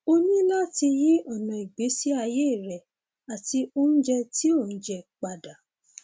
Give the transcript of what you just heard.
o ní láti yí ọnà ìgbésí ayé rẹ àti oúnjẹ tó ò ń jẹ padà